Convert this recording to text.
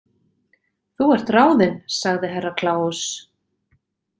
Þú ert ráðin sagði Herra Kláus.